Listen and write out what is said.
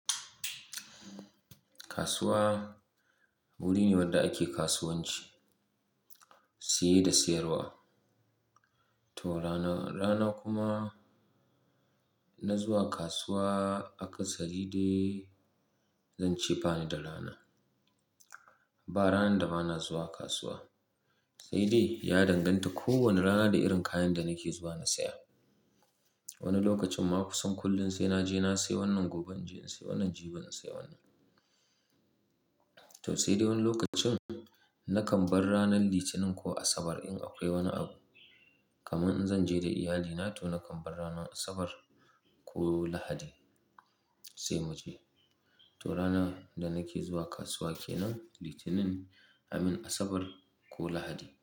Kasuwa wuri ne wanda ake kasuwanci, siye da sayarwa. To rana, rana kuma na zuwa kasuwa a kasari dai zan ce bani da rana. Ba rana da ba na zuwa kasuwa. Sai dai ya danganta kowane rana da irin kayan da nake zuwa na saya. Wani lokacin ma kusan kullum sai na je na sayi wannan, gobe na je na sayi wannan, jibi na sayi wannan. To sai dai wani lokacin na kan bar ranar Litinin ko Asabar in akwai wani abu. Kamin in zan je da iyalina to na kan bar ranar Asabar ko Lahadi sai mu je. To rana da nake zuwa kasuwa ke nan Litinin a min Asabar ko Lahadi.